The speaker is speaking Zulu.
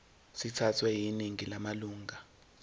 sithathwe yiningi lamalunga